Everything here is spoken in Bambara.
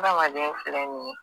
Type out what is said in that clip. Adamaden filɛ ni ye